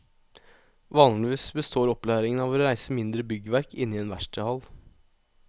Vanligvis består opplæringen av å reise mindre byggverk inne i en verkstedhall.